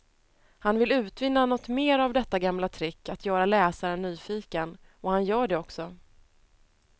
Han vill utvinna något mera av detta gamla trick att göra läsaren nyfiken, och han gör det också.